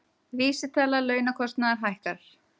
Vísitala launakostnaðar hækkar